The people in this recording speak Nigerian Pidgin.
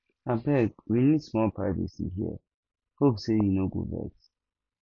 abeg we need small privacy here hope sey you no go vex